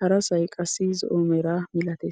harasay qassi zo'o mera milatees.